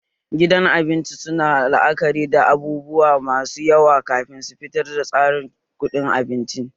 Gidan abinci suna la'akari da abubuwa masu yawa kafin su fitar da tsarin kuɗin abinci